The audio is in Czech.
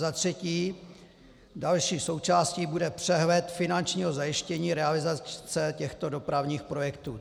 Za třetí, další součástí bude přehled finančního zajištění realizace těchto dopravních projektů.